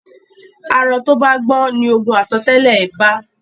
arọ to bà gbọn ní ògún aiso tẹlẹ I bá